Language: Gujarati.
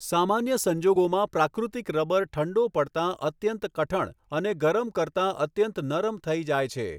સામાન્ય સંજોગોમાં પ્રાકૃત્રિક રબ્બર ઠંડો પડતા અત્યંત કઠણ અને ગરમ કરતાં અત્યંત નરમ થઈ જાય છે.